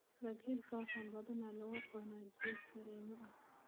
Bagelka waxaa badanaa lagu cunaa jiis kareem ah.